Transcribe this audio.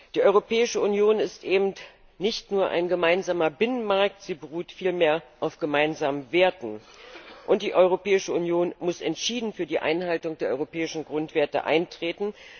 Die Europäische Union ist eben nicht nur ein gemeinsamer Binnenmarkt, sie beruht vielmehr auf gemeinsamen Werten. Und die Europäische Union muss entschieden für die Einhaltung der europäischen Grundwerte eintreten.